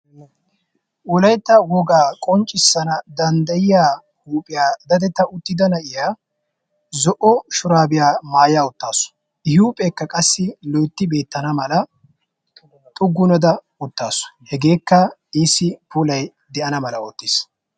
Wolaytta wogaa qonccissana danddayiya huuphiya daddetta uttidda na'iya zo"o shuraabiya maaya uttaasu. I huuphphekka qassi loytti beettnna mala xugunada uttaasu. Hageekka iisi puulay de'ana mala oottiis.